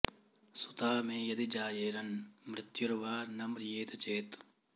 सुता मे यदि जायेरन् मृत्युर्वा न म्रियेत चेत्